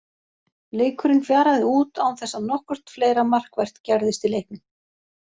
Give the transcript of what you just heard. Leikurinn fjaraði út án þess að nokkurt fleira markvert gerðist í leiknum.